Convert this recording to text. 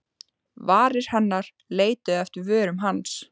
Varir hennar leituðu eftir vörum hans.